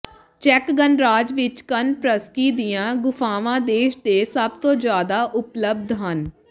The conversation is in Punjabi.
ਚੈੱਕ ਗਣਰਾਜ ਵਿਚ ਕੋਨਪ੍ਰਸਕੀ ਦੀਆਂ ਗੁਫਾਵਾਂ ਦੇਸ਼ ਦੇ ਸਭ ਤੋਂ ਜ਼ਿਆਦਾ ਉਪਲਬਧ ਹਨ